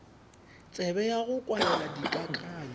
tsebe ya go kwalela dikakanyo